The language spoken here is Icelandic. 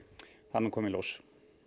það mun koma í ljós